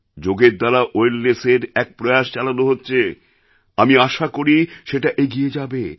যোগের দ্বারা wellnessএর এক প্রয়াস চালানো হচ্ছে আমি আশা করি সেটা এগিয়ে যাবে